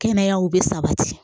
Kɛnɛyaw bɛ sabati